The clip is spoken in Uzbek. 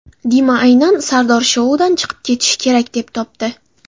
Dima aynan Sardor shoudan chiqib ketishi kerak, deb topdi.